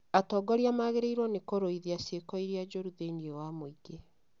Atongoria magĩrĩirwo nĩ kũrũithia ciĩko cia iria njũru thĩinĩ wa mũingĩ